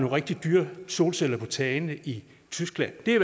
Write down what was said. rigtig dyre solceller på tagene i tyskland det er